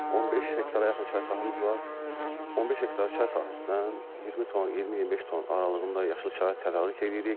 15 hektara yaxın çay sahəmiz var, 15 hektar çay sahəsindən 20 ton, 20-25 ton aralığında yaşıl çay tədarük eləyirik.